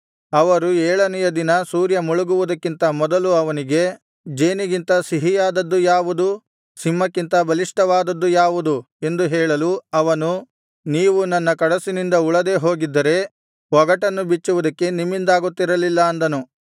ಅವರು ಏಳನೆಯ ದಿನ ಸೂರ್ಯ ಮುಳುಗುವುದಕ್ಕಿಂತ ಮೊದಲು ಅವನಿಗೆ ಜೇನಿಗಿಂತ ಸಿಹಿಯಾದದ್ದು ಯಾವುದು ಸಿಂಹಕ್ಕಿಂತ ಬಲಿಷ್ಠವಾದದ್ದು ಯಾವುದು ಎಂದು ಹೇಳಲು ಅವನು ನೀವು ನನ್ನ ಕಡಸಿನಿಂದ ಉಳದೇ ಹೋಗಿದ್ದರೆ ಒಗಟನ್ನು ಬಿಚ್ಚುವುದು ನಿಮ್ಮಿಂದಾಗುತ್ತಿರಲಿಲ್ಲ ಅಂದನು